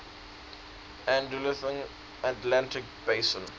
andalusian atlantic basin